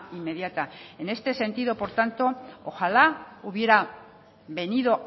inmediata en este sentido por tanto ojalá hubiera venido